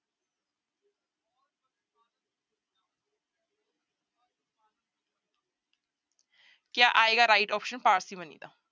ਕਿਆ ਆਏਗਾ right option parsimony ਦਾ।